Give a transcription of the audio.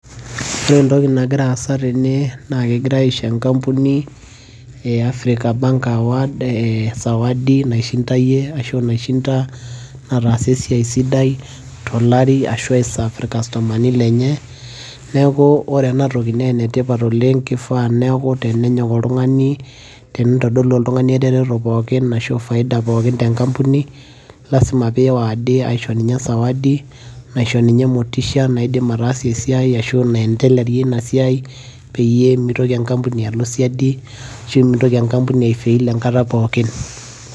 ore entoki nagira aasa tene naa kegirae aisho enkampuni, ee africa bank award sawadi naishindayie ashu naishinda, nataasa esiai sidai, tolari ashu ai serve irkastomani lenye, neeku ore ena toki naa enetipat oleng. kifaa neeku tenenyok oltungani, teneitodolu oltungani eretoto pookin ashu faida pookin te nkampuni, lasima pee ei award eishori ninye sawadi, naisho ninye motisha, ashu naendelarie ina siai, peyie meitoki enkampuni alo siadi ashu meitoki enkampuni ai fail enkata pookin.